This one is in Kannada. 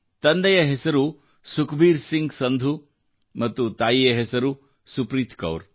ತಂದೆಯ ಹೆಸರು ಸುಖಬೀರ್ ಸಿಂಗ್ ಸಂಧು ಮತ್ತು ತಾಯಿಯ ಹೆಸರು ಸುಪ್ರೀತಾ ಕೌರ್